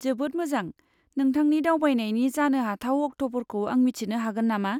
जोबोद मोजां! नोंथांनि दावबायनायनि जानोहाथाव अक्ट'फोरखौ आं मिथिनो हागोन नामा?